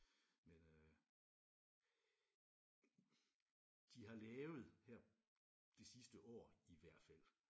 Men øh de har lavet her det sidste år i hvert fald